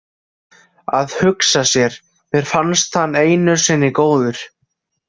Að hugsa sér, mér fannst hann einu sinni góður.